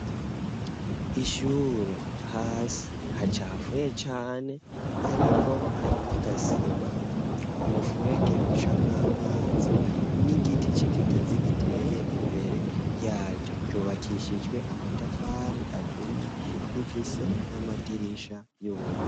Ishure hasi hacafuye cane ariko hari nagasima umufurege uca mw'amazi n'igiti cikigazi giteye imbere yaryo ryubakishijwe amatafari aturi rifuse n'amadirisha y'ubururu .